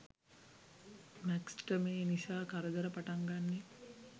Max ට මේ නිසා කරදර පටන් ගන්නේ